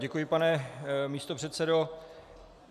Děkuji, pane místopředsedo.